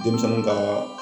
Denmisɛnninw ka